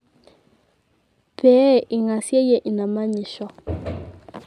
pee eingaseyie ina manyisho